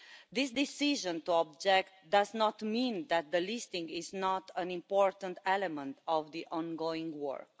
This decision to object does not mean that the listing is not an important element of the ongoing work.